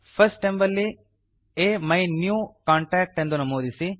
first ಎಂಬಲ್ಲಿ ಅಮಿನ್ಯೂಕಾಂಟ್ಯಾಕ್ಟ್ ಎಂದು ನಮೂದಿಸಿ